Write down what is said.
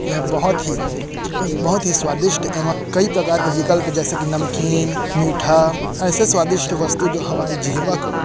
बहुत ही बहुत ही स्वादिष्ट एवं कई प्रकार के विकल्प जैसे की नमकीन मीठा ऐसी स्वादिष्ट वस्तु जो हमारी जिह्वा को--